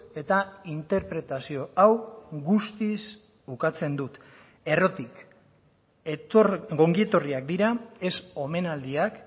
eta interpretazio hau guztiz ukatzen dut errotik ongietorriak dira ez omenaldiak